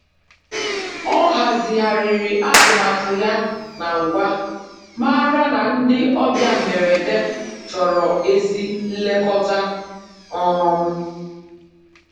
Ọ hazigharịrị atụmatụ ya na ńgwā, màrà na ndị ọbịa mgberede chọrọ ezi nlekọta. um